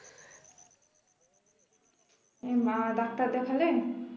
এমা doctor দেখালেন